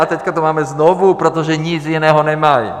A teď to máme znovu, protože nic jiného nemají.